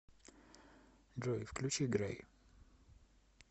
джой включи грей